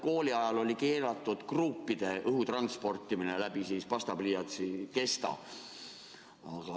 Kooli ajal oli keelatud kruupide õhutransportimine läbi pastapliiatsi kesta.